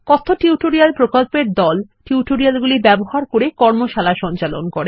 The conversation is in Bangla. কথ্য টিউটোরিয়াল প্রকল্পর দল টিউটোরিয়াল গুলি ব্যবহার করে কর্মশালা সঞ্চালন করে